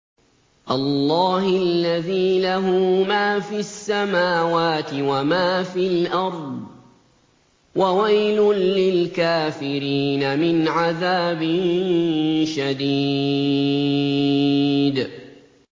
اللَّهِ الَّذِي لَهُ مَا فِي السَّمَاوَاتِ وَمَا فِي الْأَرْضِ ۗ وَوَيْلٌ لِّلْكَافِرِينَ مِنْ عَذَابٍ شَدِيدٍ